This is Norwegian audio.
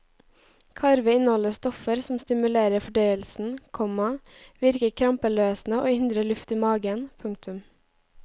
Karve inneholder stoffer som stimulerer fordøyelsen, komma virker krampeløsende og hindrer luft i maven. punktum